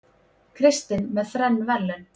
Kristinn með þrenn verðlaun